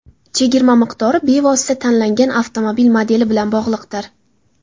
Chegirma miqdori bevosita tanlangan avtomobil modeli bilan bog‘liqdir.